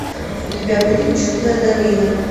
у тебя будет чудная долина